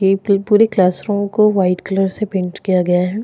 ये पूरे क्लासरूम को वाइट कलर से पेंट किया गया है।